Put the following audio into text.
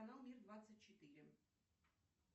канал мир двадцать четыре